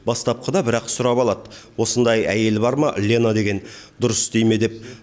бастапқыда бірақ сұрап алады осындай әйелі бар ма лена деген дұрыс істей ме деп